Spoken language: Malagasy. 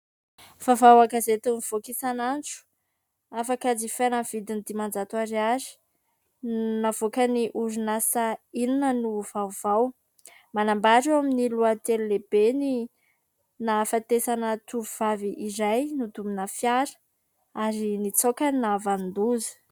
Vaovao an-gazety mivoaka isan'andro, afaka jifaina ny vidiny dimanjato ariary, navoaka ny orinasa : inona no vaovao. Manambara eo amin'ny lohateny lehibe "ny nahafatesana tovovavy iray nodomina fiara ary nitsoaka ny nahavanon-doza".